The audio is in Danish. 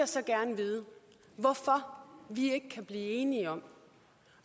så gerne vide hvorfor vi ikke kan blive enige om